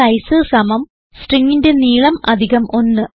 stringന്റെ size stringന്റെ നീളം 1